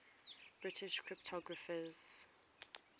british cryptographers